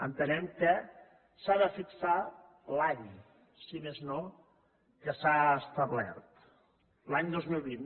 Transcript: entenem que s’ha de fixar l’any si més no que s’ha establert l’any dos mil vint